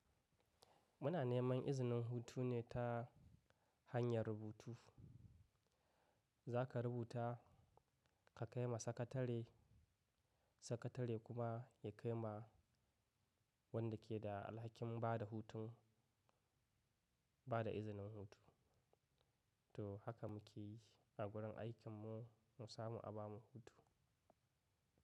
Muna neman izinin hutu ne ta hanyar rubutu. Za ka rubuta ka kai ma sakatare, sakatare kuma ya kai ma wanda ke da alhakin bada hutun, bada izinin hutu. To haka muke yi a wurin aikinmu, mu samu a ba mu hutu.